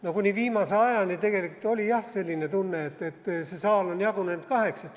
No kuni viimase ajani tegelikult oli jah selline tunne, et see saal on jagunenud kaheks.